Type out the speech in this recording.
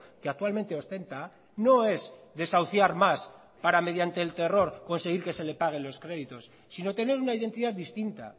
que actualmente ostenta no es desahuciar más para mediante el terror conseguir que se le pague los créditos sino tener una identidad distinta